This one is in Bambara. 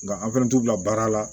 Nka an fɛnɛ t'u bila baara la